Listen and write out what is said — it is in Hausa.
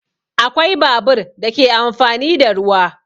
Akwai babur da ke amfani da ruwa